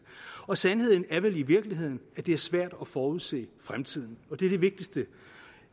og sandheden er vel i virkeligheden at det er svært at forudsige fremtiden og det er det vigtigste